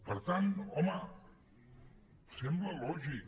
per tant home sembla lògic